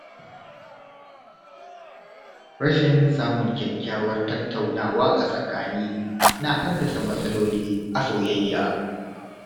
Rashin samun kyakkyawar tattaunawa a tsakani na haddasa matsaloli a soyayya.